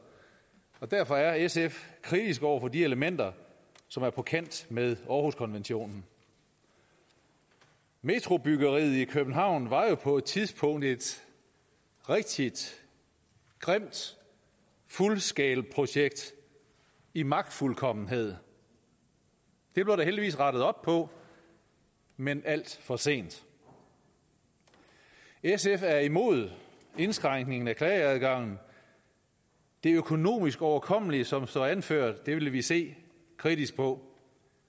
og derfor er sf kritisk over for de elementer som er på kant med århuskonventionen metrobyggeriet i københavn var jo på et tidspunkt et rigtig grimt full scale projekt i magtfuldkommenhed det blev der heldigvis rettet op på men alt for sent sf er imod indskrænkningen af klageadgangen det økonomisk overkommelige som det står anført vil vi se kritisk på